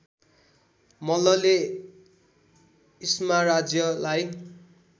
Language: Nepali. मल्लले इस्मा राज्यलाई